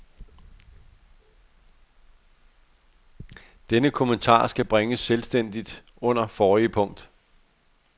Denne kommentar skal bringes selvstændigt under forrige punkt.